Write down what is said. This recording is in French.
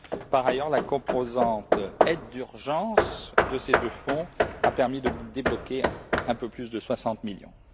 Par ailleurs, la composante aide d'urgence de ces deux fonds a permis de débloquer un peu plus de 60 millions.